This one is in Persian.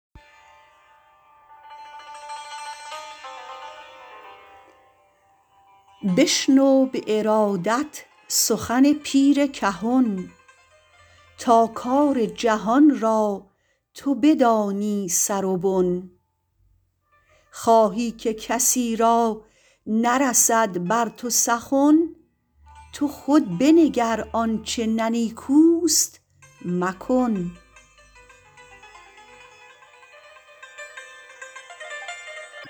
بشنو به ارادت سخن پیر کهن تا کار جهان را تو بدانی سر و بن خواهی که کسی را نرسد بر تو سخن تو خود بنگر آنچه نه نیکوست مکن